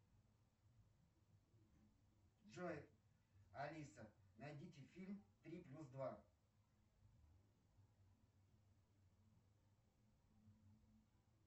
джой алиса найдите фильм три плюс два